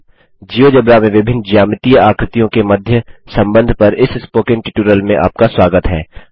GeoGebra में विभिन्न ज्यामितीय आकृतियों के मध्य संबंध पर इस स्पोकन ट्यूटोरियल में आपका स्वागत है